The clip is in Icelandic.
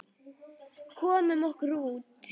Komum okkur út.